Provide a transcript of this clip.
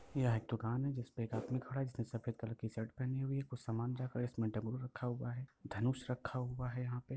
यहाँ एक दुकान है जिसपे एक आदमी खड़ा है जिसने सफेद कलर की शर्ट पहनी हुई है कुछ सामान जाकर इसमे डब्बा रखा हुआ है धनुष रखा हुआ है यहाँ पे।